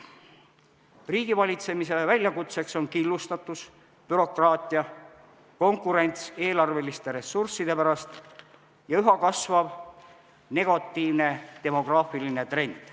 Riigivalitsemisele on väljakutseteks killustatus, bürokraatia, konkurents eelarveliste ressursside pärast ja üha kasvav negatiivne demograafiline trend.